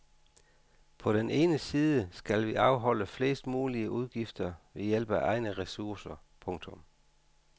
På den ene side skal vi afholde flest mulige udgifter ved hjælp af egne ressourcer. punktum